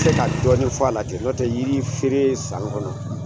N tɛ se ka dɔɔni fɔ a la ten , n'o tɛ yiri feere san kɔnɔ